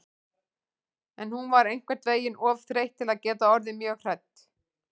En hún var einhvern veginn of þreytt til að geta orðið mjög hrædd.